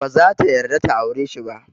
Baza ta yarda ta aure shi ba.